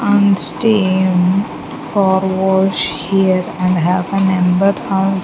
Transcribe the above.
and car wash here and have a numbers al --